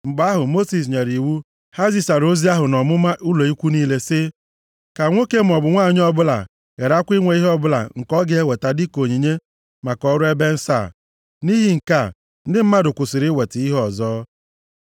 Mgbe ahụ, Mosis nyere iwu, ha zisara ozi ahụ nʼọmụma ụlọ ikwu niile sị, “Ka nwoke maọbụ nwanyị ọbụla gharakwa inwe ihe ọbụla nke ọ ga-eweta dịka onyinye maka ọrụ ebe nsọ a.” Nʼihi nke a, ndị mmadụ kwụsịrị iweta ihe ọzọ.